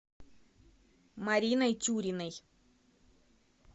мариной тюриной